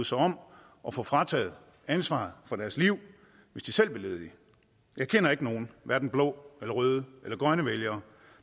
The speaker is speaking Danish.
sig om at få frataget ansvaret for deres liv hvis de selv blev ledige jeg kender ikke nogen hverken blå eller røde eller grønne vælgere